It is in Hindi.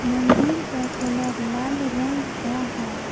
मंदिर का कलर लाल रंग का है।